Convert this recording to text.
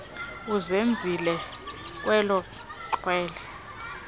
uzenzile kwela xhwele